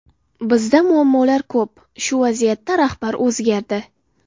Bizda muammolar ko‘p, shu vaziyatda rahbar o‘zgardi.